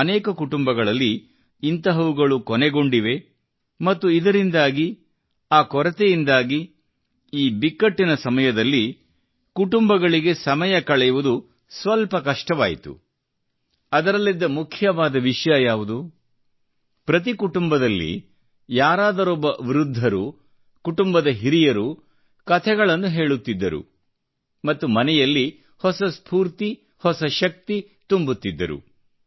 ಅನೇಕ ಕುಟುಂಬಗಳಲ್ಲಿ ಇಂತಹವುಗಳು ಕೊನೆಗೊಂಡಿವೆ ಮತ್ತು ಇದರಿಂದಾಗಿ ಆ ಕೊರತೆಯಿಂದಾಗಿ ಈ ಬಿಕ್ಕಟ್ಟಿನ ಸಮಯದಲ್ಲಿ ಕುಟುಂಬಗಳಿಗೆ ಸಮಯ ಕಳೆಯುವುದು ಸ್ವಲ್ಪ ಕಷ್ಟವಾಯಿತು ಮತ್ತು ಅದರಲ್ಲಿದ್ದ ಮುಖ್ಯವಾದ ವಿಷಯ ಯಾವುದು ಪ್ರತಿ ಕುಟುಂಬದಲ್ಲಿ ಯಾರಾದರೊಬ್ಬ ವೃದ್ಧರು ಕುಟುಂಬದ ಹಿರಿಯರು ಕತೆಗಳನ್ನು ಹೇಳುತ್ತಿದ್ದರು ಮತ್ತು ಮನೆಯಲ್ಲಿ ಹೊಸ ಸ್ಫೂರ್ತಿ ಹೊಸ ಶಕ್ತಿ ತುಂಬುತ್ತಿದ್ದರು